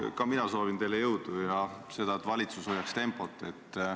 Ka mina soovin teile jõudu ja seda, et valitsus hoiaks tempot.